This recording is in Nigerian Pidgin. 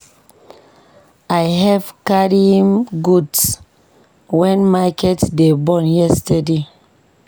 I help carry im goods wen market dey burn yesterday.